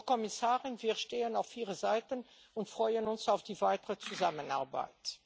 Frau Kommissarin, wir stehen auf Ihrer Seite und freuen uns auf die weitere Zusammenarbeit.